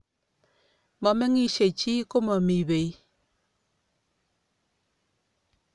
momengishei chii komomii pei